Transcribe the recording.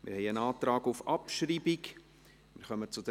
Wir haben einen Antrag auf Abschreibung von Ziffer